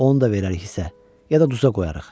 Onu da verərik hisə, ya da duza qoyarıq.